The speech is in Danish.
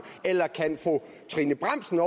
eller kan fru trine bramsen